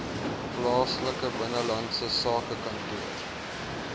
plaaslike binnelandse sakekantoor